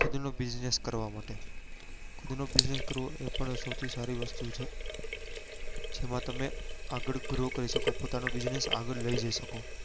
ખુદ નો business કરવા માટે ખુદ નો business કરવો એ પણ સૌથી સારી વસ્તુ છે જેમાં તમે આગળ grow કરી શકો પોતાનો business આગળ લઇ જઈ શકો